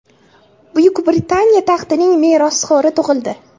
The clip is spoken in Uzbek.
Buyuk Britaniya taxtining merosxo‘ri tug‘ildi.